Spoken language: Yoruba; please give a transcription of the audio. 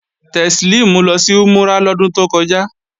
Teslimu lọ sí Umurah lọ́dún tó kọjá